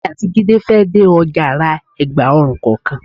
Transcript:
Èmi àti Jídé fẹ́ dé ọjà ra ẹ̀gba ọrùn kọ̀ọ̀kan.